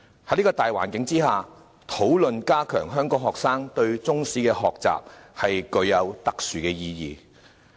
在這個大環境下，討論加強香港學生對中史科的學習，具有特殊意義。